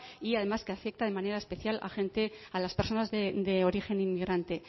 y además que afecta de manera especial a gente a las personas de origen inmigrante